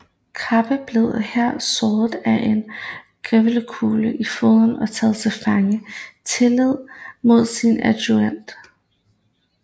Krabbe blev her såret af en geværkugle i foden og taget til fange tillige med sin adjudant